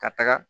Ka taga